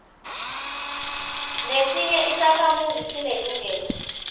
nesinye isakhamuzi sinelungelo